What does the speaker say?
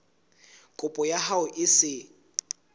kopo ya hao e se